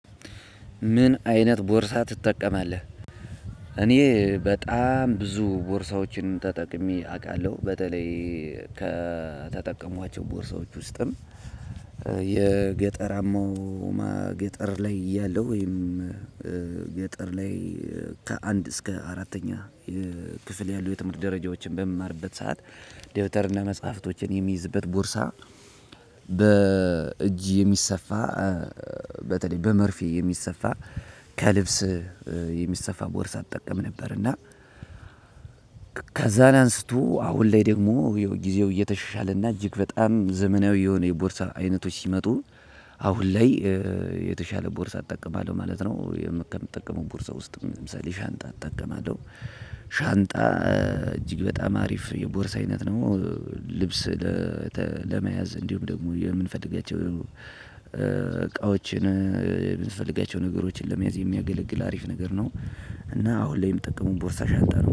ምን አይነት ቦርሳ ትጠቀማለህ? እኔ በጣም ብዙ ቦርሳዎችን ተጠቅሜ አውቃለሁ። በተለይ ከተጠቀምኳቸው ቦርሳዎች ውስጥም ደግሞ ገጠር ላይ ያለው ወይም ገጠር ላይ ከአንድ እስከ አራተኛ ክፍል ያሉ የትምህርት ደረጃዎችን በምማርበት ሰዓት ዴብተር እና መጽሐፍቶችን የሚይዝበት ቦርሳ በእጅ የሚሰፋ በተለይ በመርፌ የሚሰፋ ከልብስ የሚሰፋ ቦርሳ እጠቀም ነበር እና ከዛ አንስቶ አሁን ላይ ደግሞ ጊዜው እየተሻሻለና እጅግ በጣም ዘመናዊ የሆነ የቦርሳ አይነቶች ሲመጡ አሁን ላይ የተሻለ ቦርሳ እጠቀማለሁ ማለት ነው። ከምጠቀመው ቦርሳ ውስጥ ለምሳሌ ሻንጣ እጠቀማለሁ። ሻንጣ እጅግ በጣም አሪፍ የቦርሳ አይነት ነው። ልብስ ለመያዝ እንዲሁም ደግሞ የምንፈልጋቸው እቃዎችን የምንፈልጋቸውን ነገሮች ለመያዝ የምያገለግል አሪፍ ነገር ነው። እና ሁሌም ጥቅሙን ቦርሳ ሻንጣ ነው።